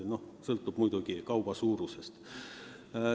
Noh, sõltub muidugi kauba kogusest.